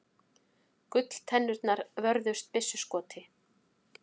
Gulltennurnar vörðust byssuskoti